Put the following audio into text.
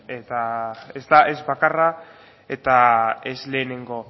eta ez da ez bakarra eta ez lehenengo